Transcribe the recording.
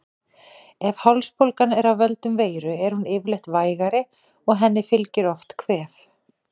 Ef hálsbólgan er af völdum veiru er hún yfirleitt vægari og henni fylgir oft kvef.